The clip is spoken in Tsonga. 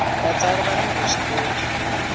vatsari vani vuswikoti